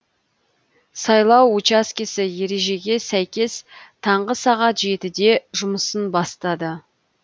сайлау учаскесі ережеге сәйкес таңғы сағат жетіде жұмысын бастады